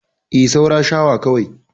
E, saura shawa kawai.